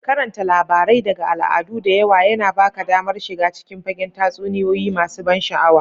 Karanta labarai daga al'adu da yawa yana ba ka damar shiga cikin fagen tatsuniyoyi masu ban sha'awa.